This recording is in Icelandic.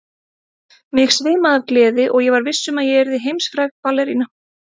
Mig svimaði af gleði og ég var viss um að ég yrði heimsfræg ballerína.